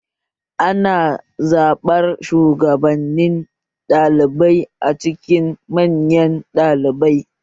Ana zaɓar shugabannin ɗalibai a cikin manyan ɗalibai